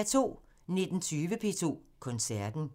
19:20: P2 Koncerten